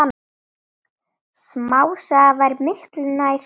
Smásaga væri miklu nær sanni.